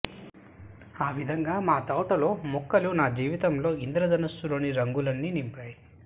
ఆ విధంగా మా తోటలో మెుక్కలు నా జీవితంలో ఇంద్రధనుస్సు లోని రంగులన్ని నింపాయి